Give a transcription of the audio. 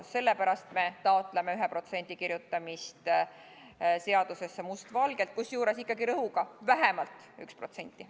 Just sellepärast me taotleme 1% kirjutamist seadusesse mustvalgel, kusjuures ikkagi rõhuga, et vähemalt 1%.